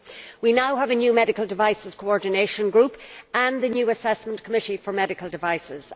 We now have a new medical devices coordination group and the new assessment committee for medical devices.